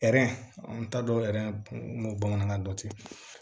n t'a dɔn o bamanankan dɔn tɛ